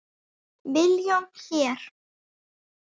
Milljón hér.